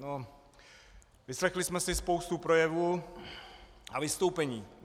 No, vyslechli jsme si spoustu projevů a vystoupení.